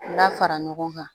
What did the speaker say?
La fara ɲɔgɔn kan